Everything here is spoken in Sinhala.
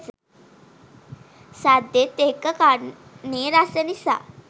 සද්දෙත් එක්ක කන්නෙ රස නිසා